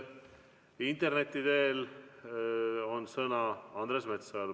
Interneti teel on sõna Andres Metsojal.